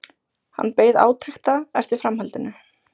Hann beið átekta eftir framhaldinu.